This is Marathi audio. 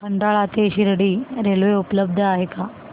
खंडाळा ते शिर्डी रेल्वे उपलब्ध आहे का